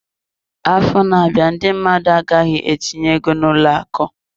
Afọ na-abịa, ndị mmadụ agaghịzi etinye ego n'ụlọ akụ.